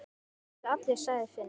Svo til allir, sagði Finnur.